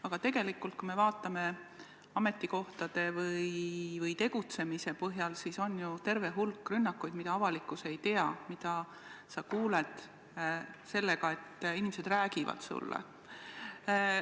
Aga tegelikult, kui me vaatame ametikohtade või tegutsemise põhjal, siis on ju terve hulk rünnakuid, mida avalikkus ei tea ja millest sa kuuled siis, kui inimesed neist sulle räägivad.